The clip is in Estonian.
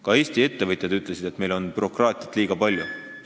Ka Eesti ettevõtjad on öelnud, et meil on bürokraatiat liiga palju.